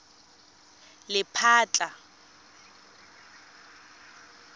lephatla